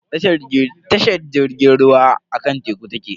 Tashar jirgin ruwa akan teku take.